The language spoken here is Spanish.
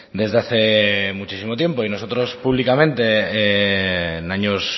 desde hace muchísimo tiempo y nosotros públicamente en años